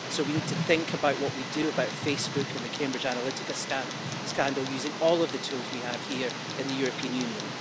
So, we need to think about what we do about Facebook and the Cambridge Analytica scandal, using all of the tools we have here in the European Union.